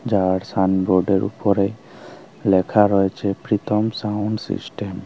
যার সাইন বোর্ডের উপরে লেখা রয়েছে প্রীতম সাউন্ড সিস্টেম ।